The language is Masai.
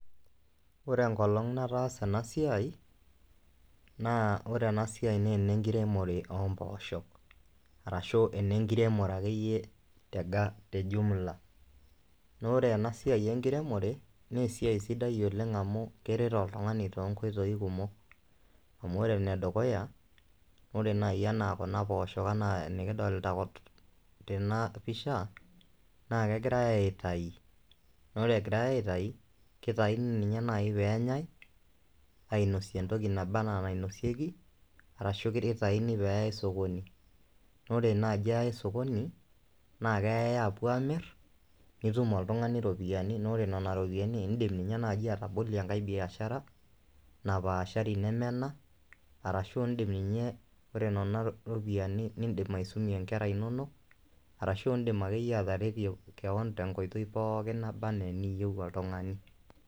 Ore enkolong' nataasa ena siai naa ore ena siai naa ene nkiremore oo mpoosho, arashu enenkiremore akeyie te jumla naa ore ena siai enkiremore naa esiai sidai oleng amu, keret oltungani too nkoitoi kumok, amu ore ene dukuya ore naaji enaa Kuna poosho anaa enikidolta tena pisha naa kegirae aitayu, ore egirae aitayu, kitayuni ninye naaji peenyae ainosie entoki naba anaa enainosieki, arashu kitayni pee eyae sokoni, naa ore naaji eyae sokoni, naa keyae apuo amir, nit oltungani iropiyiani inonok, ore Nena ropiyiani idim ninye naaji atabolie enkae biashara napaashari neme ena, ashu idim ninye, ore Nena ropiyiani idim aisumie nkera inonok arashu idim akeyie ateretie keon, tenkoitoi pookin naba anaa eniyieu oltungani.